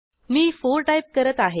मी 4 type करत आहे